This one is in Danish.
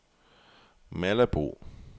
Malabo